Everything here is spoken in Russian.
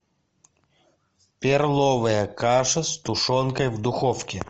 перловая каша с тушенкой в духовке